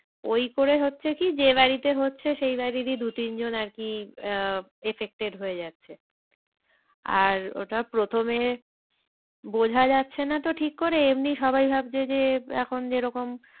ওই করে হচ্ছে কি যে বাড়িতে হচ্ছে সে বাড়িরই দু তিন জন আর কি আহ affected হয়ে যাচ্ছে। আর ওটা প্রথমে বোঝা যাচ্ছে না তো ঠিক করে এমনি সবাই ভাবছে যে এখন যেরকম